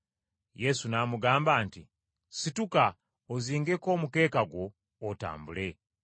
Yesu n’amugamba nti, “Situka ozingeko omukeeka gwo otambule.”